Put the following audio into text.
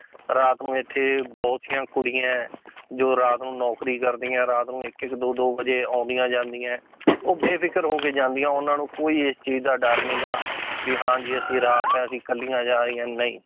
ਰਾਤ ਨੂੰ ਇੱਥੇ ਬਹੁਤੀਆਂ ਕੁੜੀਆਂ ਹੈ ਜੋ ਰਾਤ ਨੂੰ ਨੌਕਰੀ ਕਰਦੀਆਂ, ਰਾਤ ਨੂੰ ਇੱਕ ਇੱਕ ਦੋ ਦੋ ਵਜ਼ੇ ਆਉਂਦੀਆਂ ਜਾਂਦੀਆਂ ਹੈ ਉਹ ਬੇਫ਼ਿਕਰ ਹੋ ਕੇ ਜਾਂਦੀਆਂ ਉਹਨਾਂ ਨੂੰ ਕੋਈ ਇਸ ਚੀਜ਼ ਦਾ ਡਰ ਨੀਗਾ ਵੀ ਹਾਂ ਜੀ ਅਸੀਂ ਰਾਤ ਆ ਅਸੀਂ ਇਕੱਲੀਆਂ ਜਾ ਰਹੀਆਂ ਨਹੀਂ